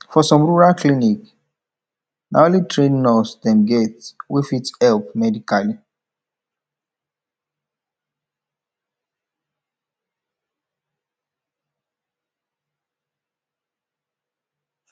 for some rural clinic na only trained nurse dem get wey fit help medically